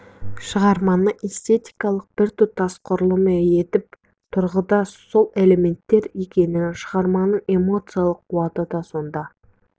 шығарманы эстетикалық біртұтас құрылым етіп тұрған да сол элементтер екенін шығарманың эмоциялық қуаты да сонда